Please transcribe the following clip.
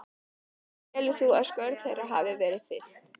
Telur þú að skörð þeirra hafi verið fyllt?